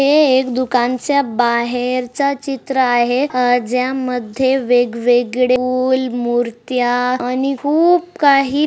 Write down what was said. हे एक दुकानाच्या बाहेरच चित्र आहे अ ज्या मध्ये वेग-वेगळे फुल मुर्त्या आणि खुप काही--